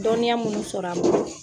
Dɔnniya minnu sɔrɔ ani bolo.